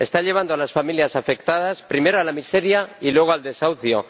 Está llevando a las familias afectadas primero, a la miseria y luego, al desahucio.